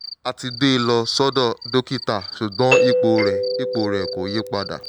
a ti gbé e lọ sọ́dọ̀ dókítà ṣùgbọ́n ipò rẹ̀ ipò rẹ̀ kò yí padà